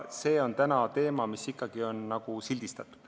See on täna teema, mis ikkagi on nagu sildistatud.